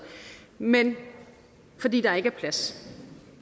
men fordi der ikke er plads